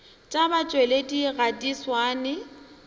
tša batšweletši ga di swane